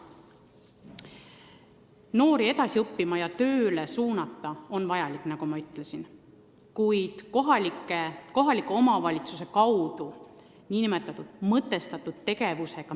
Noori edasi õppima ja tööle suunata on vaja, nagu ma juba ütlesin, kuid seda saab teha kohaliku omavalitsuse mõtestatud tegevusega.